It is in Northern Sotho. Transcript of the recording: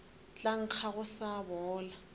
tla nkga go sa bola